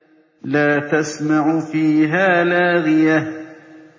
لَّا تَسْمَعُ فِيهَا لَاغِيَةً